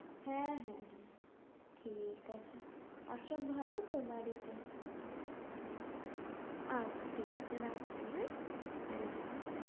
হ্যাঁ হ্যাঁ হ্যাঁ ঠিক আছে আর সব ভালো তো বাড়িতে? আচ্ছা ঠিক আছে রাখছি হ্যাঁ? হ্যাঁ হ্যাঁ হ্যাঁ।